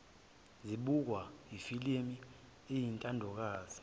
zibuka ifilimu eyintandokazi